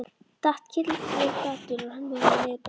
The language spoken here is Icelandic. Datt kylliflatur og rann með honum niður brekkuna.